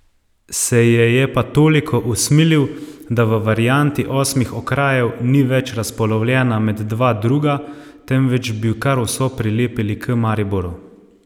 Se je je pa toliko usmilil, da v varianti osmih okrajev ni več razpolovljena med dva druga, temveč bi kar vso prilepili k Mariboru.